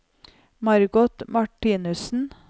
Margot Martinussen